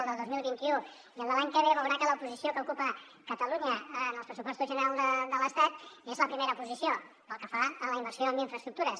el del dos mil vint u i el de l’any que ve veurà que la posició que ocupa catalunya en els pressupostos generals de l’estat és la primera posició pel que fa a la inversió en infraestructures